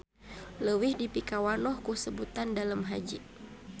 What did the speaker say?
Leuwih dipikawanoh ku sebutan Dalem Haji.